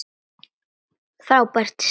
Frábært stríð!